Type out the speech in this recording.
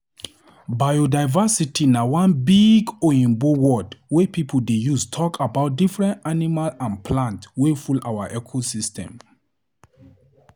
Biodiversity na one big oyibo word wey pipo dey use talk about different animal and plant wey full our ecosystems.